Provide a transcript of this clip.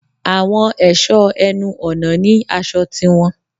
Àwọn èṣọ ẹnu ọ̀nà ní aṣọ tiwọn.